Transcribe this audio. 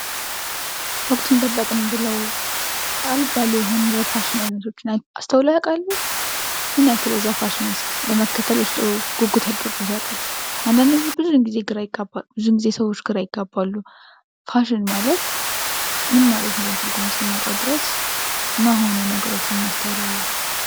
ወቅቱን ጠበቅን ብለው አልባሌ የሆኑ የፋሽን አይነቶችን አስተውለው ያውቃሉ? ምን ያክል የዛን ፋሽንስ ለመከተል ውስጥዎ ጉጉት አድሮቦት ያውቃል? አንዳንዴ ብዙውን ጊዜ ሰዎች ግራ ይጋባሉ ፋሽን ማለት ምን ማለት እንደሆነ ትርጉሙን እስክናጣው ድረስ ማይሆኑ ነገሮችን እናስተዋላለን።